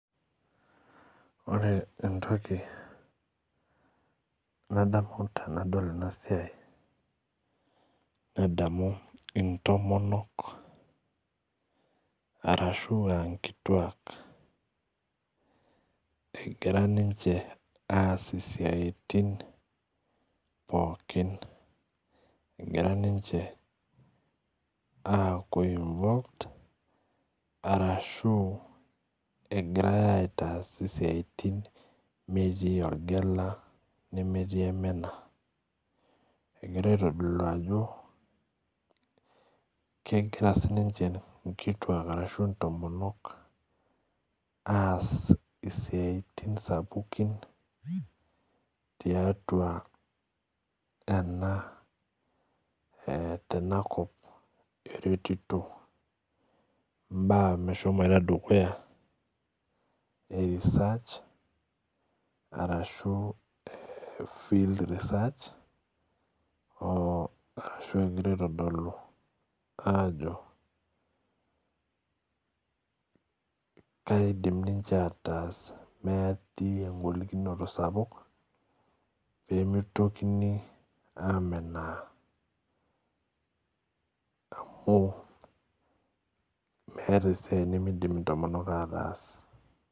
Ore entoki nadamu tenadol enasiai nadamu ntomonok ashuvaankituak egira ninche aas siatin pookin egira ninche ninche arashu egirai aitaas siatin metii orgela nemetii ormena egira aitadolu ajo egira nkituak ashu ntomonok aas siatin sapukin tiatua enakop eretito mbaa meshomoita dukuya e research ashu field research o arashu egira aitadolu ajo keidim ninche aatas metii engolikino sapuk pemitoki amenaa amu meeta esiaia nimidim ataas.